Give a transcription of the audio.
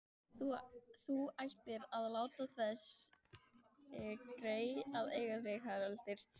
Þú ættir að láta þessi grey eiga sig, Haraldur